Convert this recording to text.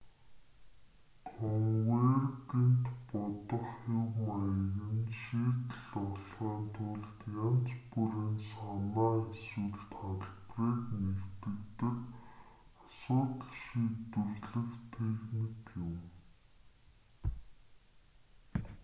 конвергент бодох хэв маяг нь шийдэл олохын тулд янз бүрийн санаа эсвэл талбарыг нэгтгэдэг асуудал шийдвэрлэх техник юм